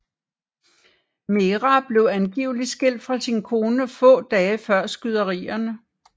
Merah blev angiveligt skilt fra sin kone få dage før skyderierne